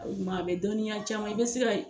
O ɲuma a bɛ dɔnniya caman i bɛ se ka